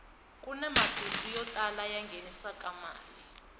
kuni mabindzu yo tala ya nghenisaka mali